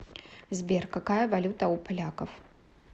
сбер какая валюта у поляков